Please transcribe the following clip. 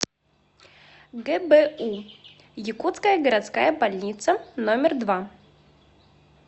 гбу якутская городская больница номер два